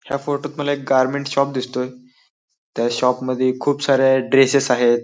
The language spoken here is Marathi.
ह्या फोटोत मला एक गारमेन्ट शॉप दिसतोय त्या शॉपमध्ये खूप साऱ्या ड्रेसेस आहेत.